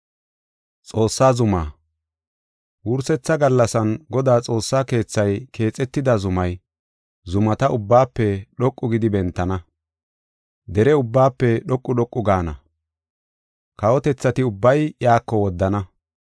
Wursetha gallasan Godaa xoossa keethay keexetida zumay, zumata ubbaafe dhoqu gidi bentana. Dere ubbaafe dhoqu dhoqu gaana. Kawotethati ubbay iyako woddana.